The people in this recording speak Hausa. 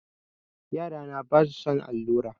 Yarana basu son allura.